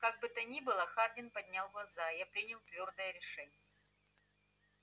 как бы то ни было хардин поднял глаза я принял твёрдое решение